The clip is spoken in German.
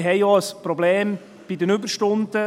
Wir haben auch ein Problem bei den Überstunden.